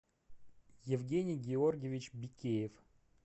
евгений георгиевич бикеев